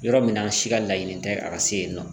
Yɔrɔ min na si ka laɲini tɛ a ka se yen nɔ